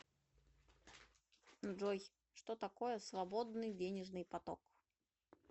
джой что такое свободный денежный поток